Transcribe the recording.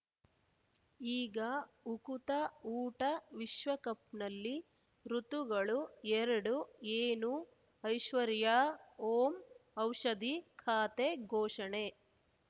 ಈಗ ಉಕುತ ಊಟ ವಿಶ್ವಕಪ್‌ನಲ್ಲಿ ಋತುಗಳು ಎರಡು ಏನು ಐಶ್ವರ್ಯಾ ಓಂ ಔಷಧಿ ಖಾತೆ ಘೋಷಣೆ